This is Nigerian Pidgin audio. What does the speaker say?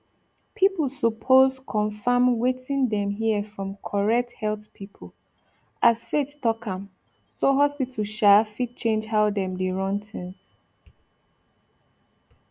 people suppose confirm wetin dem hear from correct health people as faith talk am so hospital um fit change how dem dey run things